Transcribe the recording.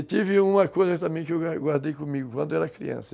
E tive uma coisa também que eu guardei comigo quando eu era criança.